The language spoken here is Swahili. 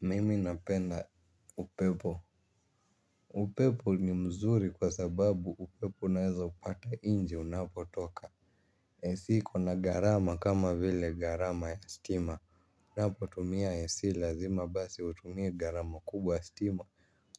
Mimi napenda upepo, upepo ni mzuri kwa sababu upepo unaeza upata nje unapo toka ac iko na gharama kama vile gharama ya stima, unapo tumia ac lazima basi utumie gharama kubwa ya stima.